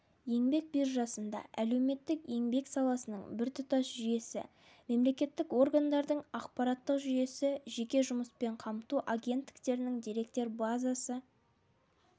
еңбек биржасында әлеуметтік-еңбек саласының біртұтас жүйесі мемлекеттік органдардың ақпараттық жүйесі жеке жұмыспен қамту агенттіктерінің деректер базасы